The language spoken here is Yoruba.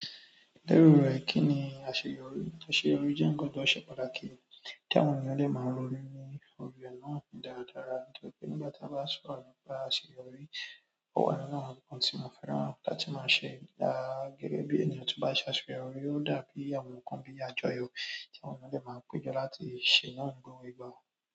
Lérò rẹ kí ni àṣeyọrí? Àṣeyọrí jẹ́ ńkan tó ṣe pàtàkì tí àwọn ènìyàn dẹ máa ń ronun ní orí rẹ náà dáradára. Nígbà tí a bá sọ̀rọ̀ nípa àṣeyọrí, ó wà nínú àwọn ńnkan tí mo fẹ́ràn láti máa ṣe. Gẹ́gẹ́ bí ènìyàn tió bá ṣe àṣeyọrí ó dàbí àwọn ńnkan bíi àjọyọ̀ tí àwọn ènìyàn dẹ máa pèjọ láti ṣe náà ni gbogbo ìgbà.